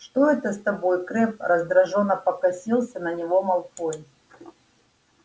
что это с тобой крэбб раздражённо покосился на него малфой